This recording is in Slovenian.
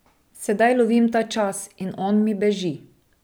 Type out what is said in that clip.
Sedaj lovim ta čas, in on mi beži.